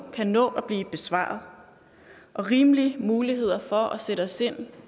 kan nå at blive besvaret og rimelige muligheder for at sætte os ind